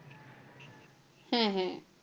হ্যাঁ হ্যাঁ।